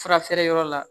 Fura feere yɔrɔ la